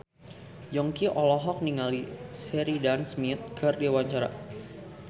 Yongki olohok ningali Sheridan Smith keur diwawancara